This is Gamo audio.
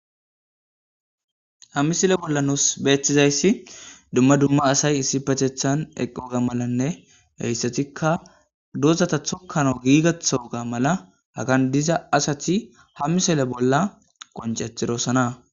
Ha misilen nus bolla dumma dumma asay issipetethan eqqosona,hessatikka dozatta tokkanas gigaththo mala Hagan diza Asati misille bolla qonccetidosona.